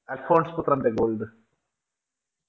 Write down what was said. അൽഫോൻസ് പുത്രന്റെ Gold